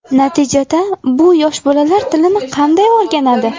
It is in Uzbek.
Natijada bu: Yosh bolalar tilni qanday o‘rganadi?